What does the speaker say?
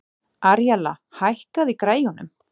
Aríella, hækkaðu í græjunum.